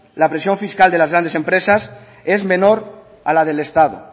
la presión fiscal de las grandes empresas es menor a la del estado